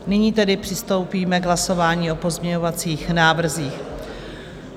Nyní tedy přistoupíme k hlasování o pozměňovacích návrzích.